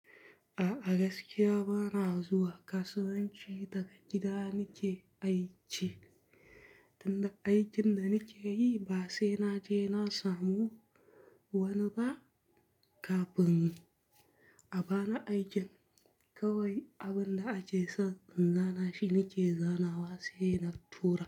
A'a gaskiya bana zuwa kasuwanci daga gida nike aici, tunda aikin da nike yi ba sai na je na samu wani ba kafin. A bana aikin kawai abin da ake so in zana shi nike zanawa sai na tura.